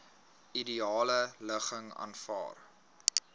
ideale ligging vanwaar